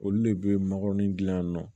Olu de bɛ makɔrɔni dilan yan nɔ